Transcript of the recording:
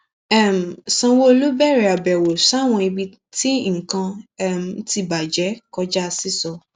um sanwóọlú bẹrẹ àbẹwò sáwọn ibi tí nǹkan um ti bàjẹ kọjá sísọ